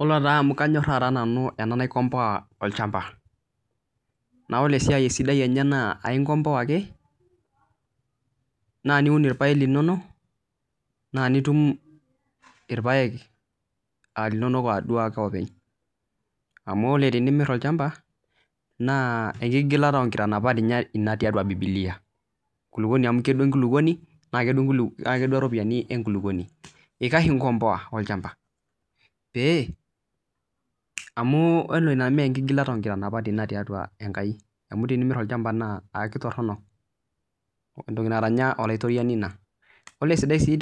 Yiolo taa amu kanyor nanu enasiai naikombowa olchamba naa ore esiai enye sidai naa enkompoa ake naa niun irpaek linono naa nitum irpaek aa linono ake openy amu tenimir olchamba naa enkigulata oo nkitanapat tee bibilia amu media enkulupuoni eikash enkompowa olchamba pee amh ore ena nemgilata oo nkitanapat tiatua enkai ore sii